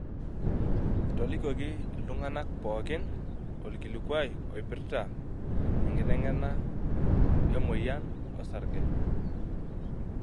Etolikioki iltungana pookin olkilikuai oipirta enkiteneng'ena emoyian osarge.